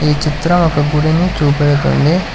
ఈ చిత్రం ఒక గుడిని చూపెడుతుంది.